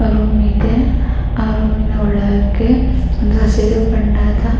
Room ಇದೆ. ಆ room ಇನ ಒಳಗೇ ಒಂದು ಹಸಿರು ಬಣ್ಣದ --